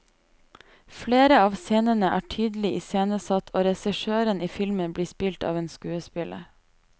Flere av scenene er tydelig iscenesatt, og regissøren i filmen blir spilt av en skuespiller.